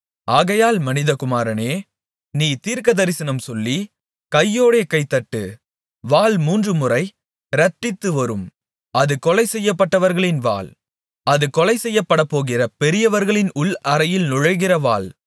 ஆகையால் மனிதகுமாரனே நீ தீர்க்கதரிசனம் சொல்லி கையோடே கைதட்டு வாள் மூன்றுமுறை இரட்டித்துவரும் அது கொலை செய்யப்பட்டவர்களின் வாள் அது கொலைசெய்யப்படப்போகிற பெரியவர்களின் உள் அறைகளில் நுழைகிற வாள்